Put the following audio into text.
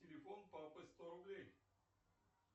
телефон папы сто рублей